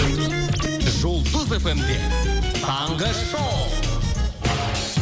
жұлдыз эф эм де таңғы шоу